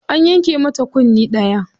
An yanke mata kunne ɗaya.